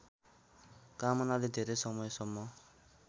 कामनाले धेरै समयसम्म